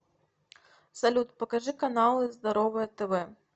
салют покажи каналы здоровое тв